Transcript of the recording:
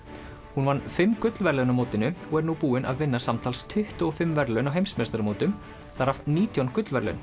hún vann fimm gullverðlaun á mótinu og er nú búin að vinna samtals tuttugu og fimm verðlaun á heimsmeistaramótum þar af nítján gullverðlaun